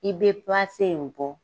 I bɛ in bɔ.